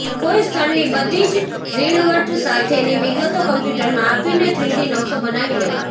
કોઈ સ્થળની બધી જ ઝીણવટ સાથેની વિગતો કમ્પ્યૂટરમાં આપીને થ્રીડી નકશો બનાવી લેવાનો